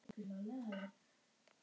Mest veiðum við af þorski.